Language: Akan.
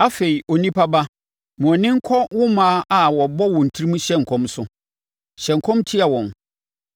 “Afei, onipa ba, ma wʼani nkɔ wo mmaa a wɔbɔ wɔn tirim hyɛ nkɔm so. Hyɛ nkɔm tia wɔn